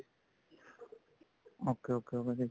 okay okay ਭਾਜੀ